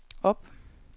op